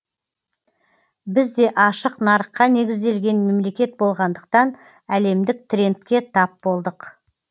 біз де ашық нарыққа негізделген мемлекет болғандықтан әлемдік трендке тап болдық